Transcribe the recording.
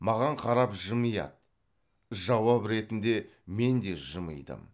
маған қарап жымияды жауап ретінде мен де жымидым